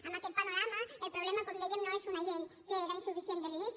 amb aquest panorama el problema com dèiem no és una llei que era insuficient des de l’inici